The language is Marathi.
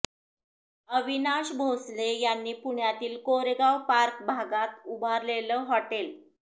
अविनाश भोसले यांनी पुण्यातील कोरेगाव पार्क भागात उभारलेलं हॉटेल